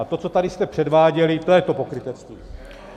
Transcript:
A to, co tady jste předváděli, to je to pokrytectví.